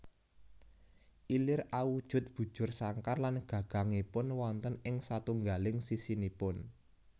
Ilir awujud bujur sangkar lan gagangipun wonten ing satunggaling sisinipun